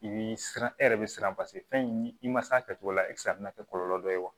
I bi siran e yɛrɛ bi siran fɛn in i ma se a kɛcogo la a bɛna kɛ kɔlɔlɔ dɔ ye wa